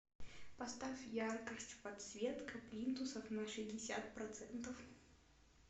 поставь яркость подсветка плинтусов на шестьдесят процентов